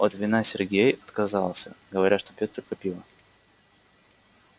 от вина сергей отказался говоря что пьёт только пиво